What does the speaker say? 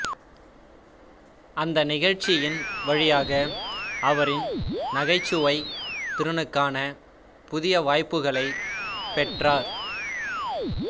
அந்த நிகழ்ச்சியின் வழியாக அவரின் நகைச்சுவைத் திறனுக்கான புதிய வாய்ப்புகளைப் பெற்றார்